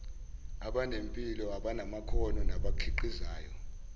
abanempilo abanamakhono nabakhiqizayo